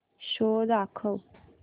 show दाखव